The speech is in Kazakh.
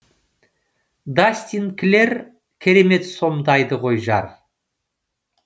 дастин клэр керемет сомдайды ғой жар